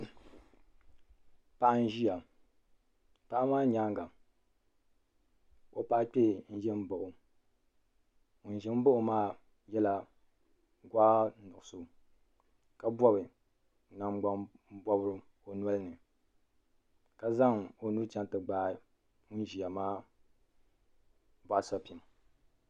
Paɣa nziya paɣa maa nyɛanga o paɣa kpɛɛ n zɛ mbaɣi o ŋuni zɛ n baɣi o maa yela gɔɣi nuɣiso ka bɔbi ningbuni pɔbirigu o nolo ni ka zaŋ o nuu chaŋ ti gbaai ŋuni ziya maa bɔɣu sapiŋ.